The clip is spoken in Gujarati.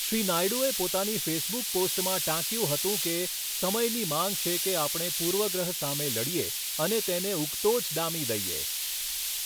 શ્રી નાયડૂએ પોતાની ફેસબુક પોસ્ટમાં ટાંક્યું હતું કે, સમયની માંગ છે કે આપણે પૂર્વગ્રહ સામે લડીએ અને તેને ઉગતો જ ડામી દઇએ.